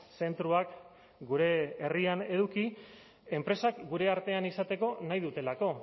zentroak gure herrian eduki enpresak gure artean izateko nahi dutelako